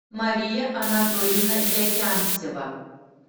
мария анатольевна якямсева